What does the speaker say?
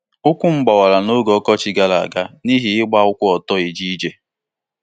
Ụkwụ m gbawara n'oge ọkọchị gara aga n'ihi igba ụkwụ ọtọ eje ije.